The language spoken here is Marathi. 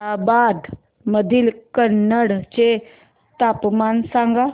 औरंगाबाद मधील कन्नड चे तापमान सांग